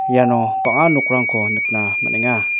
iano bang·a nokrangko nikna man·enga.